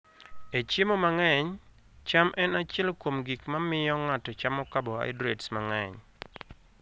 E chiemo mang'eny, cham en achiel kuom gik ma miyo ng'ato chamo carbohydrates mang'eny.